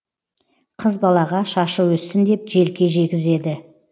қыз балаға шашы өссін деп желке жегізеді